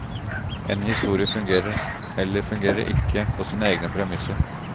En historie fungerer, eller fungerer ikke, på sine egne premisser.